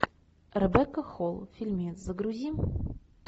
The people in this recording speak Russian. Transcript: ребекка холл фильмец загрузи